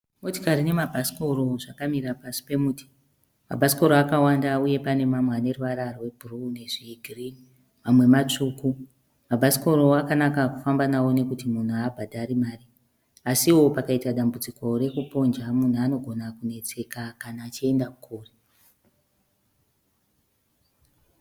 Motikari nemabhasikoro zvakamira pasi pemuti. Mabhasikoro akawanda uye pane mamwe ane ruvara rwegireyi nezvegirini. Mamwe matsvuku. Mabhasikoro akanaka kufamba nawo nekuti munhu haabhadhari mari. Asiwo, pakaita dambudziko rekuponja munhu anogona kunetseka kana achienda kure.